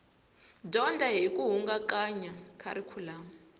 dyondza hi ku hingakanya kharikhulamu